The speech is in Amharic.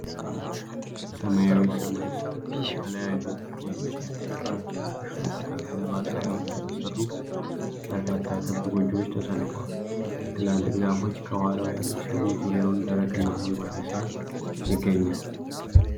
ሰማያዊ ሰማይ ስር፣ ከተለያዩ የእንጨት ግድግዳዎች እና ሾጣጣ ገለባ ጣሪያዎች የተሰሩ በርካታ ክብ ጎጆዎች ተሰልፈዋል። ትላልቅ ዛፎች ከኋላው ያሉ ሲሆን፣ ዙሪያውን ደረቅና አረንጓዴ ሣር ይገኛል።